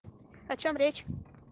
о чём речь